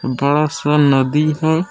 बड़ा सा नदी है।